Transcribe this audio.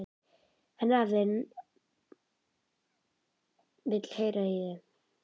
Hann afi þinn vill heyra í þér.